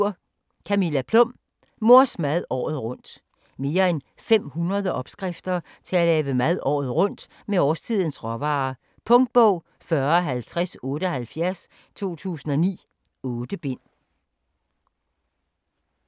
Plum, Camilla: Mors mad året rundt Mere end 500 opskrifter til at lave mad året rundt med årstidens råvarer. Punktbog 405078 2009. 8 bind.